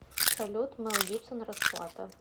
салют мел гибсон расплата